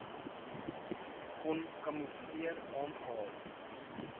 kon kamoefleer aangehad